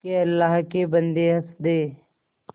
के अल्लाह के बन्दे हंस दे